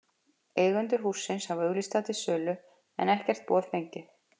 Eigendur hússins hafa auglýst það til sölu, en ekkert boð fengið.